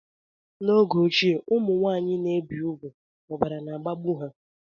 Mgbe ochie ụmụnwanyị ana ebi ùgwù ọbara na agbagbu ha